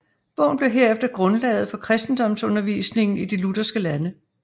Bogen blev herefter grundlaget for kristendomsundervisningen i de lutherske lande